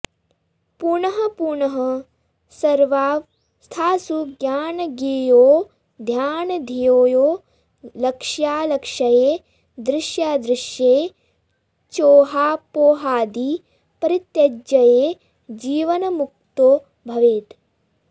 पुनःपुनः सर्वावस्थासु ज्ञानज्ञेयौ ध्यानध्येयौ लक्ष्यालक्ष्ये दृश्यादृश्ये चोहापोहादि परित्यज्य जीवन्मुक्तो भवेत्